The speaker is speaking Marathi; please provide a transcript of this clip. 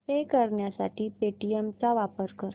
पे करण्यासाठी पेटीएम चा वापर कर